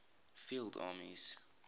field armies